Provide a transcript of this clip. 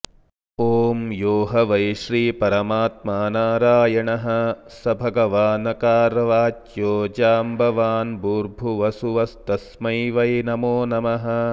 ॐ यो ह वै श्रीपरमात्मा नारायणः स भगवानकारवाच्यो जाम्बवान्भूर्भुवः सुवस्तस्मै वै नमोनमः